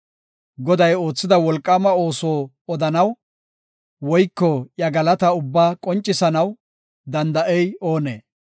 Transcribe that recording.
Goday oothida wolqaama ooso odanaw, woyko iya galataa ubbaa qoncisanaw danda7ey oonee?